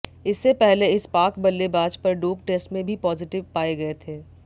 इससे पहले इस पाक बल्लेबाज पर डोप टेस्ट में भी पॉजिटिव पाए गए थे